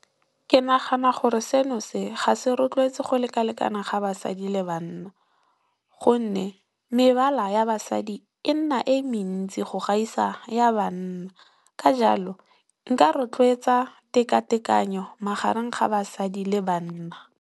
Ke nagana gore seno se ga se rotloetse go lekalekana ga basadi le banna gonne, mebala ya basadi e nna e mentsi go gaisa ya banna ka jalo nka rotloetsa teka tekano magareng ga basadi le banna.